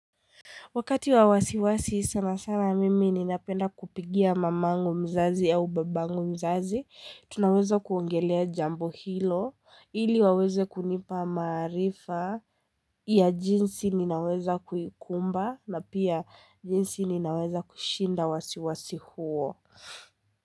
Wakati wa wasiwasi sana sana mimi ninapenda kupigia mamangu mzazi au babangu mzazi, tunaweza kuongelea jambo hilo, ili waweze kunipa maarifa ya jinsi ninaweza kuikumba na pia jinsi ninaweza kushinda wasiwasi huo.